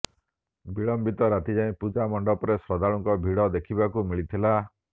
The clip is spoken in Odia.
ବିଳମ୍ବିତ ରାତିଯାଏ ପୂଜା ମଣ୍ଡପରେ ଶ୍ରଦ୍ଧାଳୁଙ୍କ ଭିଡ଼ ଦେଖିବାକୁ ମିଳିଥିଲା